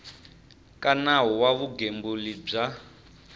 ka nawu wa vugembuli bya